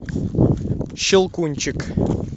щелкунчик